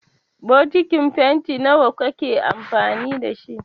Bokitin fenti nawa kake amfani da shi?